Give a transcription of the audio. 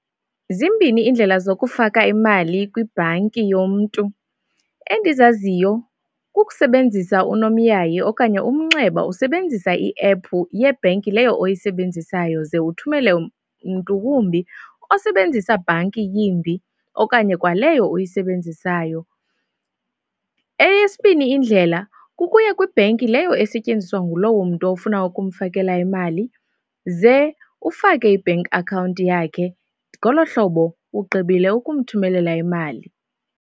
Zimbini iindlela zokufaka imali kwibhanki yomntu. Endizaziyo kukusebenzisa unomyayi okanye umnxeba usebenzisa iephu yebhenki leyo oyisebenzisayo ze uthumele mntu wumbi osebenzisa bhanki yimbi okanye kwa leyo oyisebenzisayo. Eyesibini indlela, kukuya kwibheki leyo esetyenziswa ngulowo mntu ofuna ukumfakela imali ze ufake i-bank account yakhe, ngolo hlobo ugqibile ukumthumelela imali.